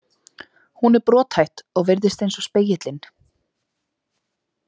Hún er brothætt og virðist eins og spegillinn.